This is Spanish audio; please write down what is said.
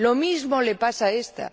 Lo mismo le pasa a esta.